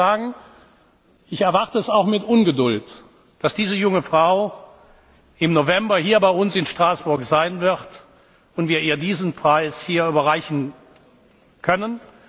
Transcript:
das. Ich möchte sagen, ich erwarte es auch mit Ungeduld, dass diese junge Frau im November hier bei uns in Straßburg sein wird und wir ihr diesen Preis hier überreichen können.